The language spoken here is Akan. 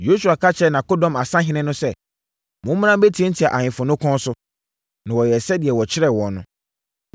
Yosua ka kyerɛɛ nʼakodɔm asahene no sɛ, “Mommra mmɛtiatia ahemfo no kɔn so.” Na wɔyɛɛ sɛdeɛ wɔkyerɛɛ wɔn no.